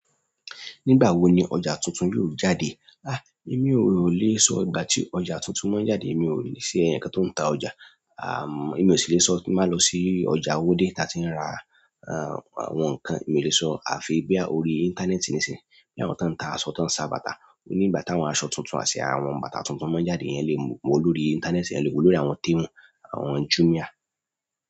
Nígbà wo ni ọjà tuntun yóò jáde? Èmi ò lè sọ ìgbà tí ọjà tuntun máa jáde. Èmi ò í ṣe èèyàn kan tó ń ta ọjà. Èmi ò sì lè sọ tí n bá lọ sí ọjà Owódé táa tí ń ra àwọn nǹkan. Èmi ò le sọ. Àfi bóyá orí íńtánẹ́ẹ̀tì nísìnyí. Bí àwọn tó ń ta aṣọ, tó ń ṣa bàtà. Ní ìgbà táwọn aṣọ tuntun àti àwọn bàtà tuntun máa ń jáde, èèyàn le wòó lórí íńtánẹ́ẹ̀tì, èèyàn le wòó lórí àwọn Temu, àwọn Jumia.